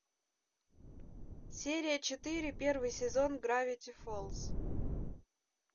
серия четыре первый сезон гравити фолз